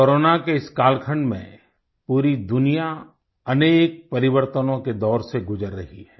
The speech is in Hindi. कोरोना के इस कालखंड में पूरी दुनिया अनेक परिवर्तनों के दौर से गुजर रही है